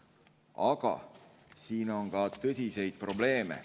Aga siin on ka tõsiseid probleeme.